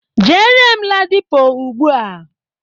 Jere m Ladipo ugbua!